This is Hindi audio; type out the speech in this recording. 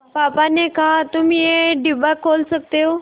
पापा ने कहा तुम ये डिब्बा खोल सकते हो